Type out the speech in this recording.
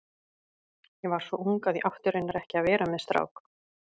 Ég var svo ung að ég átti raunar ekki að vera með strák.